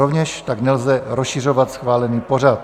Rovněž tak nelze rozšiřovat schválený pořad.